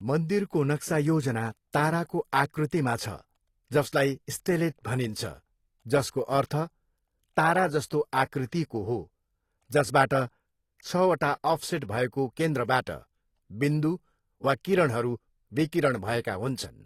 मन्दिरको नक्सा योजना ताराको आकृतिमा छ, जसलाई स्टेलेट भनिन्छ, जसको अर्थ ताराजस्तो आकृतिको हो, जसबाट छवटा अफसेट भएको केन्द्रबाट बिन्दु वा किरणहरू विकिरण भएका हुन्छन्।